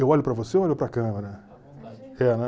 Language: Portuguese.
Eu olho para você ou olho para a câmera?